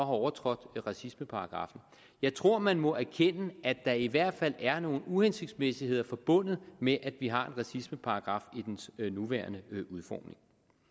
overtrådt racismeparagraffen jeg tror at man må erkende at der i hvert fald er nogle uhensigtsmæssigheder forbundet med at vi har en racismeparagraf i dens nuværende udformning